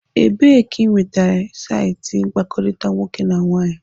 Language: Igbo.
Ebee ka ị nwetara saịtị mkpakọrịta nwoke na nwaanyị?